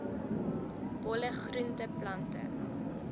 bolle groente plante